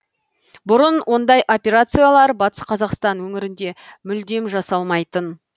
бұрын ондай операциялар батыс қазақстан өңірінде мүлдем жасалмайтын